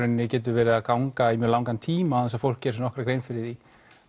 getur verið að ganga í mjög langan tíma án þess að fólk geri sér nokkra grein fyrir því